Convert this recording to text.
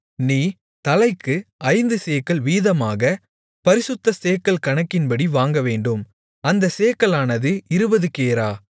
நீ தலைக்கு ஐந்து சேக்கல் வீதமாகப் பரிசுத்த சேக்கல் கணக்கின்படி வாங்கவேண்டும் அந்தச் சேக்கலானது இருபது கேரா